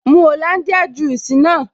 Mu Hollandia juice naa